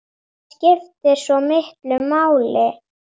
Það skiptir svo miklu máli.